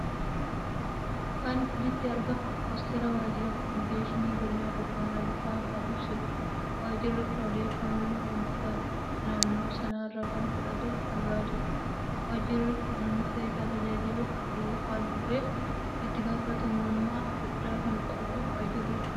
Kan olitti argamu postery wajjira kominikeeshinii godina booranaa baha kan ibsuudha. Wajjirri kun odeeffanno ummata naanno sanarra kan fudhatuuf kan laatudha. Wajjirri kun uummata isa tajaajiluf haal dureef itti gaafatamummaa guddaa kan qabuudha Wajjirri kun haalli karooraf rawwii isa akkam?